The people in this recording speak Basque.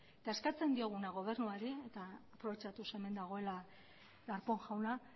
eta eskatzen dioguna gobernuari aprobetxatuz hemen dagoela darpón jauna